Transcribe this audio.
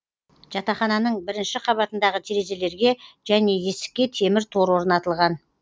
жатахананың бірінші қабатындағы терезелерге және есікке темір тор орнатылған